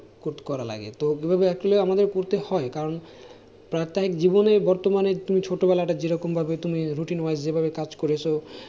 কোৎ করা লাগে তো ওগুলো actually আমাদের করতে হয় কারণ প্রাত্যহিক জীবনে বর্তমানে তুমি ছোটবেলাটা যেরকম ভাবে তুমি routine wise যেভাবে কাজ করেছো